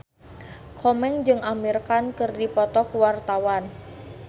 Komeng jeung Amir Khan keur dipoto ku wartawan